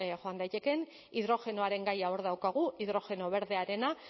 joan daitekeen hidrogenoaren gaia hor daukagu hidrogeno berdearena